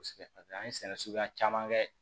An ye sɛnɛ suguya caman kɛ